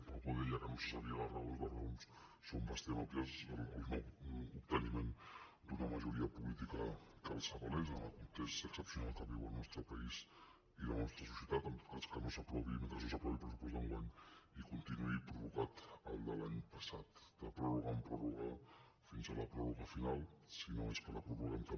algú deia que no se’n sabien les raons les raons són bastant òbvies el no·obteniment d’una majoria política que els avalés en el context excepcio·nal que viuen el nostre país i la nostra societat en tot cas que no s’aprovi mentre no s’aprovi el pressupost d’enguany i continuï prorrogat el de l’any passat de pròrroga en pròrroga fins a la pròrroga final si no és que la prorroguem també